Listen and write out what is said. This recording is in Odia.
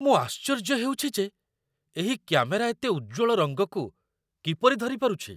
ମୁଁ ଆଶ୍ଚର୍ଯ୍ୟ ହେଉଛି ଯେ ଏହି କ୍ୟାମେରା ଏତେ ଉଜ୍ଜ୍ୱଳ ରଙ୍ଗକୁ କିପରି ଧରିପାରୁଛି!